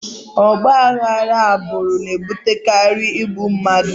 Ọgba aghara agbụrụ na-ebutekarị igbu mmadụ